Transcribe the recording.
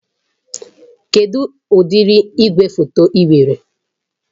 Kedụ ụdị igwefoto ị nwere?